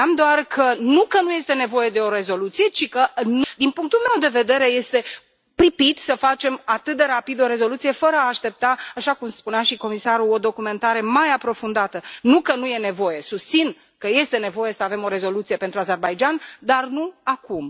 Spuneam doar că nu că nu este nevoie de o rezoluție, ci că, din punctul meu de vedere, este pripit să facem atât de rapid o rezoluție, fără a aștepta, așa cum spunea și comisarul, o documentare mai aprofundată. Nu că nu e nevoie. Susțin că este nevoie să avem o rezoluție pentru Azerbaidjan, dar nu acum.